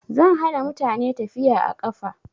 Zan hana mutane tafiya a ƙafa